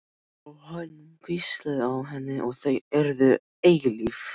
Og hann hvíslaði að henni að þau yrðu eilíf.